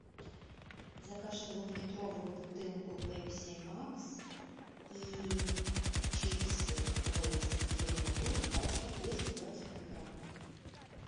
закажи двухлитровую бутылку пепси макс и чипсы лейс зеленый лук пачка двести двадцать пять грамм